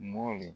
Mɔ